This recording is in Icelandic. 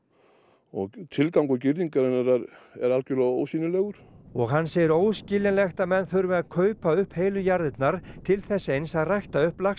og tilgangur girðingarinnar er algerlega ósýnilegur og hann segir óskiljanlegt að menn þurfi að kaupa upp heilu jarðirnar til þess eins að rækta upp